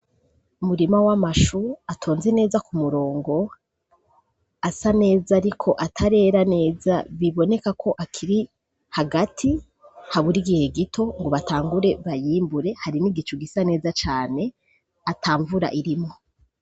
Umurima w'amashu atonze neza ku murongo, asa neza ariko atarera neza. Biboneka ko akiri hagati, habura igihe gito ngo batangure bayimbure. Hari n'igicu gisa neza cane, ata mvura irimwo.